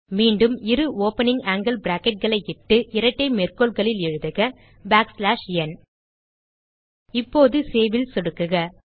மீண்டும் இரு opening angle bracketகளை இட்டு இரட்டை மேற்கோள்களில் எழுதுக பாக் ஸ்லாஷ் ந் இப்போது Saveல் சொடுக்குக